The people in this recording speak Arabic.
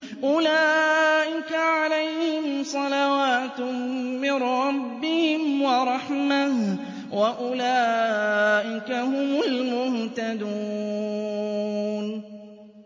أُولَٰئِكَ عَلَيْهِمْ صَلَوَاتٌ مِّن رَّبِّهِمْ وَرَحْمَةٌ ۖ وَأُولَٰئِكَ هُمُ الْمُهْتَدُونَ